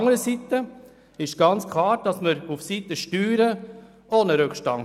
Anderseits besteht ebenfalls bei den Steuern ein ganz klarer Rückstand.